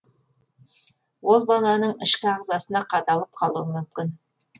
ол баланың ішкі ағзасына қадалып қалуы мүмкін